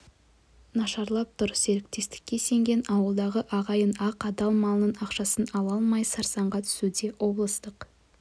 нашарлап тұр серіктестікке сенген ауылдағы ағайын ақ адал малының ақшасын ала алмай сарсаңға түсуде облыстық